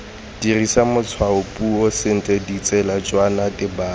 dirisa matshwaopuiso sentle ditsejwana tebang